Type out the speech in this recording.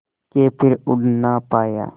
के फिर उड़ ना पाया